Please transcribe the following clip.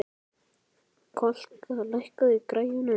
Kolka, lækkaðu í græjunum.